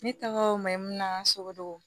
Ne tɔgɔ mayi na sogo